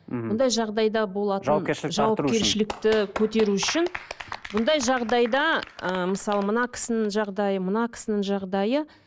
мхм бұндай жағдайда болатын жауапкершілікті көтеру үшін бұндай жағдайда ы мысалы мына кісінің жағдайы мына кісінің жағдайы